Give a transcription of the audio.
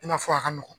I n'a fɔ a ka nɔgɔn